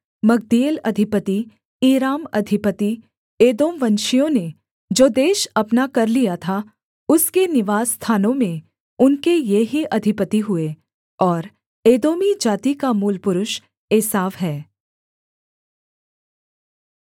मग्दीएल अधिपति ईराम अधिपति एदोमवंशियों ने जो देश अपना कर लिया था उसके निवासस्थानों में उनके ये ही अधिपति हुए और एदोमी जाति का मूलपुरुष एसाव है